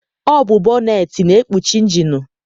Ọ bụ bọneetị na-ekpuchi injinu.